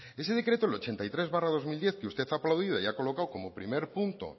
ese decreto el ochenta y tres barra dos mil diez que usted ha aplaudido y ha colocado como primer punto